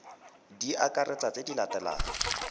di akaretsa tse di latelang